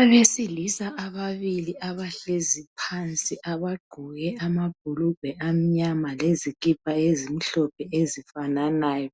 Abesilisa ababili abahlezi phansi abagqoke amabhulugwe amnyama lezikipa ezimhlophe ezifananayo